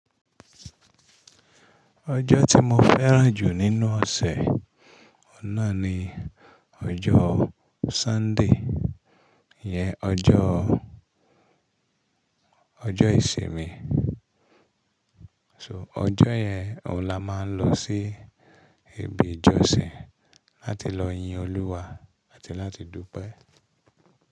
Ọjọ́ tí mo fẹ́ràn jù nínú ọ̀sẹ̀ ọ̀un nà ni ọjọ́ Sunday, ìyẹn ọjọ́, ọjọ́ ìsinmi. So ọjọ́ yẹn òun la máa ń lọ sí ibi ìjọsìn láti lọ yin Olúwa àti láti dúpẹ́.